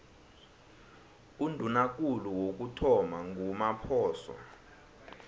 undunakulu wokuthoma ngumaphoso